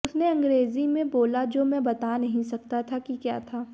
उसने अंग्रेजी में बोला जो मैं बता नहीं सकता कि क्या था